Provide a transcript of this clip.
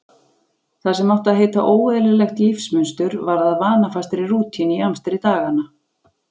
Það sem átti að heita óeðlilegt lífsmunstur varð að vanafastri rútínu í amstri daganna.